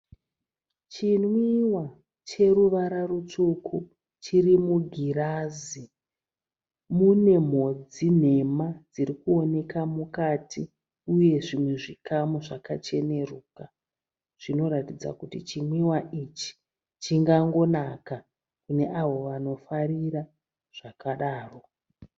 Chinwíwa cheruvara rutsvuku chiri mugirazi. Mune mhodzi nhema dzirikuoneka mukati uye zvimwe zvikamu zvakacheneruka. Zvinoratidza kuti chinwíwa ichi chingangonaka kune avo vanofarira zvakadaro.